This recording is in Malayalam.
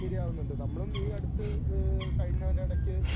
ഇരയാകുന്നുണ്ട്. നമ്മളും ഈ അടുത്ത് ഏഹ് കഴിഞ്ഞൊരെടയ്ക്ക്